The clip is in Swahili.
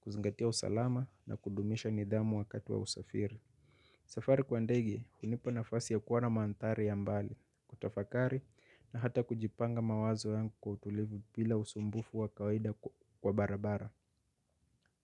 kuzingatia usalama na kudumisha nidhamu wakati wa usafiri. Safari kwa ndege hunipa na fasi ya kuona manthari ya mbali, kutafakari na hata kujipanga mawazo yangu kwa utulivu bila usumbufu wa kawaida wa barabara.